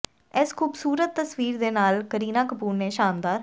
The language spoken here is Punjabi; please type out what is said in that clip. ਇਸ ਖੂਬਸੂਰਤ ਤਸਵੀਰ ਦੇ ਨਾਲ ਕਰੀਨਾ ਕਪੂਰ ਨੇ ਸ਼ਾਨਦਾਰ